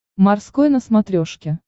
морской на смотрешке